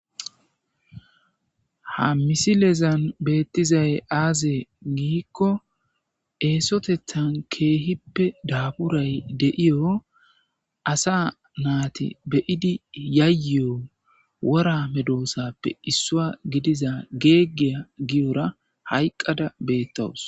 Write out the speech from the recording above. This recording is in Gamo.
Ha misilezan beettizay aazee giikko eesotethan keehippe daaburay deiyo asa naati beyidi yayeyo wora medoosappe issua gidiza geeggiya giyora hayqqada beettowus